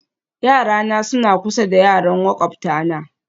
Yarana suna kusa da yaran makwabtana